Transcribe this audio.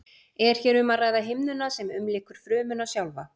Er hér um að ræða himnuna sem umlykur frumuna sjálfa.